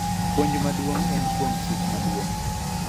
Puonj maduong� en kuom Chik Maduong�.